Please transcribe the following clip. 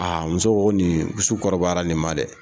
Aa muso ko nin su kɔrɔbayara nin ma dɛ